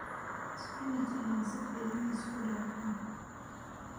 Spinach ayaa si fiican isku dhafan.